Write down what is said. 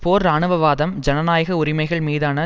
போர் இராணுவவாதம் ஜனநாயக உரிமைகள்மீதான